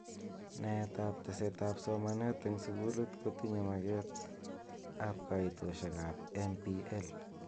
Naet ab teset ab somanet eng sukul kotinye maket ab kaitoshek ab MPL.